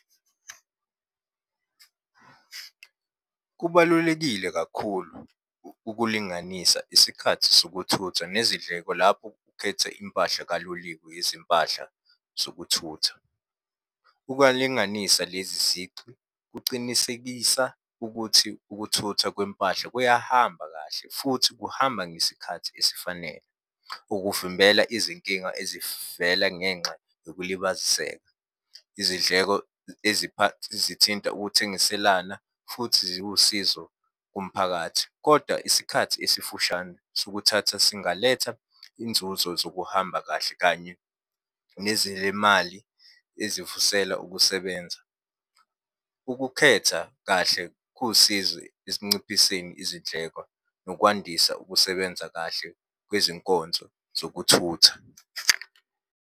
Kubalulekile kakhulu ukulinganisa isikhathi sokuthutha nezidleko lapho kukhethwa impahla kaloliwe yezimpahla zokuthutha. Ukalinganisa lezi zici, kucinisekisa ukuthi ukuthutha kwempahla kuyahamba kahle, futhi kuhamba ngesikhathi esifanele ukuvimbela izinkinga ezivela ngenxa yokulibaziseka. Izidleko zithinta ukuthengiselana, futhi ziwusizo kumphakathi, kodwa isikhathi esifushane sokuthatha singaletha inzuzo zokuhamba kahle kanye nezelemali ezivusela ukusebenza. Ukukhetha kahle kuwusizi esinciphiseni izidlekwa, nokwandisa ukusebenza kahle kwezinkonzo zokuthutha.